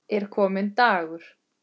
Er kominn dagur?